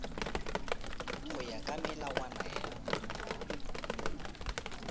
go ya ka melawana ya